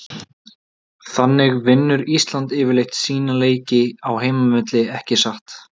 Þannig vinnur Ísland yfirleitt sína leiki á heimavelli ekki satt?